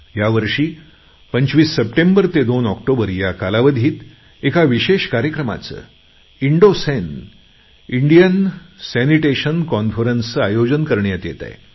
ह्या वर्षी 25 सप्टेंबर ते 3 ऑक्टोबर या कालावधीत एका विशेष कार्यक्रमाचं इन्डोसन इंडिअन सॅनिटेशन कॉन्फरन्सचे आयोजन करण्यात येत आहे